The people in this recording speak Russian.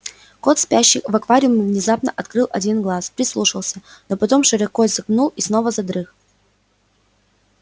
кот спящий в аквариуме внезапно открыл один глаз прислушался но потом широко зевнул и снова задрых